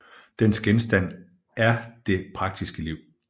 Dens genstand er det praktiske liv